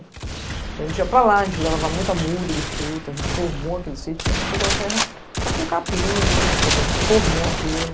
Então a gente ia para lá, a gente levava muita morda de fruta, a gente formou aquele sítio, porque a gente pegou a terra só com capim, alguma coisa, a gente formou aquilo.